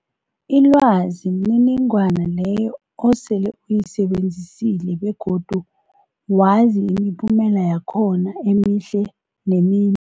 Ilwazi mniningwana leyo osele uyisebenzisile begodu wazi imiphumela yakhona emihle nemim